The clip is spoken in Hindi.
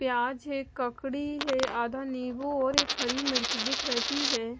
प्याज है ककड़ी हैआधा नींबू और एक हरी मिर्च दिख रही है।